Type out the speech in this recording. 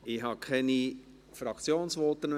Es gibt keine Fraktionsvoten mehr.